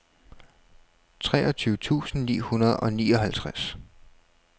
treogtyve tusind ni hundrede og nioghalvtreds